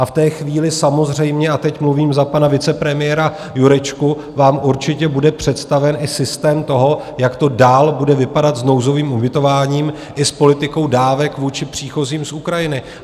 A v té chvíli samozřejmě - a teď mluvím za pana vicepremiéra Jurečku - vám určitě bude představen i systém toho, jak to dál bude vypadat s nouzovým ubytováním i s politikou dávek vůči příchozím z Ukrajiny.